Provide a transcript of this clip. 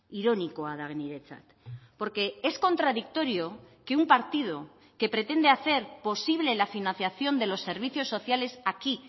ironikoa da niretzat porque es contradictorio que un partido que pretende hacer posible la financiación de los servicios sociales aquí